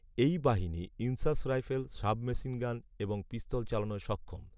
এই বাহিনী INSAS rifle, sub machine gun এবংপিস্তল চালানোয় সক্ষম